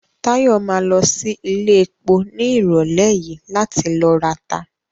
Táyọ̀ ma lọ sí iléepo ní ìrọ̀lẹ́ yìí láti ló rata